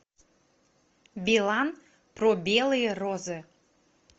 билан про белые розы